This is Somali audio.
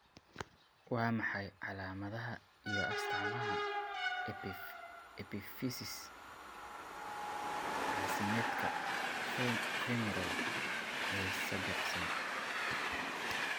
Waa maxay calaamadaha iyo astaamaha epiphysis caasimeedka femoral ee sibiqsan?